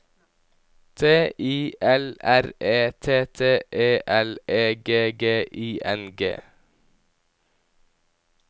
T I L R E T T E L E G G I N G